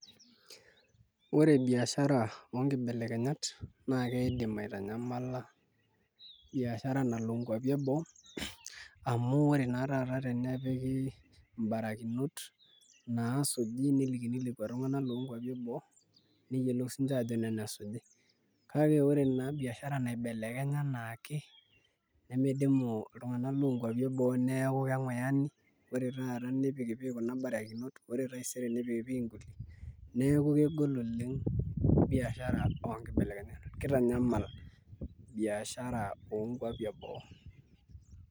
Ore biashara oonkibelekenyat naa kiidim aitanyamala biashara nalo nkuapi eboo amu ore naa taata tenepiki mbarakinot naasuji nelikini lekua tung'anak loonkuapi eboo neyiolou siinche aajo nena esuji. Kake ore naa biashara naibelekenya enaake nemidimu iltung'anak loonkuapi eboo amu keng'uyani ore taata nipikipiki kuna barakinot ore taisere nipikipiki nkulie neeku kegol oleng' biashara oonkibelekenyat kitanyamal biashara onkuapi eboo.